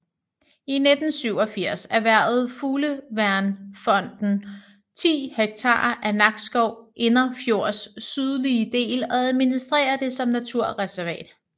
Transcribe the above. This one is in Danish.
I 1987 erhvervede Fugleværnsfonden 10 hektar af Nakskov Indrefjords sydlige del og administrerer det som naturreservat